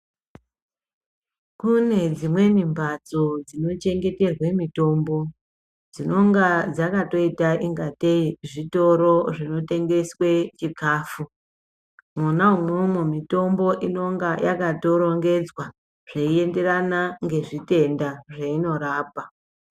Kune dzimweni mbatso dzinochengeterwe mitombo dzinonga dzakatoita ingatei zvitoro zvinotengeswe chikafu .Mwona umwomwo mitombo inonga yakatorongedzwa zveienderana ngezvitenda zveinorapa .